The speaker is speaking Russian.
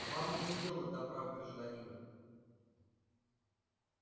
вам нет дела до прав гражданина